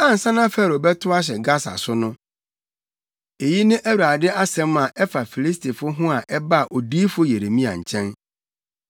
Ansa na Farao bɛtow ahyɛ Gasa so no, eyi ne Awurade asɛm a ɛfa Filistifo ho a ɛbaa odiyifo Yeremia nkyɛn: